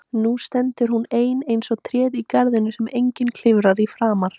Nú stendur hún ein eins og tréð í garðinum sem enginn klifrar í framar.